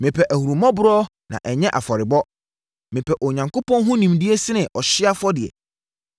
Mepɛ ahummɔborɔ na ɛnyɛ afɔrebɔ, mepɛ Onyankopɔn ho nimdeɛ sene ɔhyeɛ afɔdeɛ.